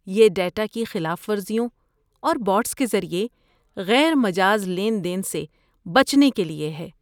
یہ ڈیٹا کی خلاف ورزیوں اور بوٹس کے ذریعے غیر مجاز لین دین سے بچنے کے لیے ہے۔